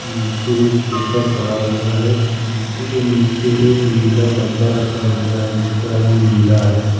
नीचे एक पेपर पड़ा हुआ है लीची के नीचे एक नीला डब्बा रखा हुआ है जिसका रंग नीला है।